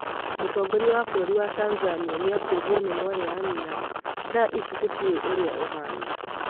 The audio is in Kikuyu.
mũtongoria wa bũrũri wa Tanzania nĩakuĩrwo nĩ mwarĩ wa nyĩna ' thaa ici tũtiũe ũria ahana'